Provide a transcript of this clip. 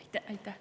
Aitäh!